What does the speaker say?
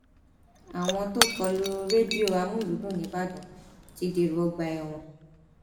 àwọn tó kọ lu rédíò àmúlùdún nìbàdàn ti dèrò ọgbà ẹwọn